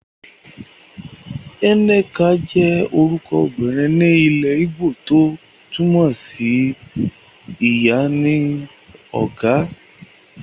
Nneka jẹ́ orúkọ ọmọbìnrin ni ilẹ́ ígbò tó túmọ̀ sí Ìyá ni ó ga.